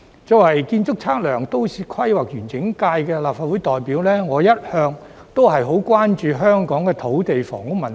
作為建築、測量、都市規劃及園境界的立法會代表，我一向十分關注香港的土地房屋問題。